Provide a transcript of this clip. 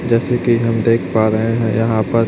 जैसे कि हम देख पा रहे हैं यहां पर--